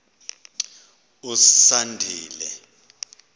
usandile